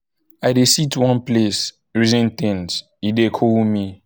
i dey sit one place reason things e dey cool me.